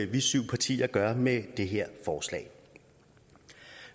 vi syv partier gør med det her forslag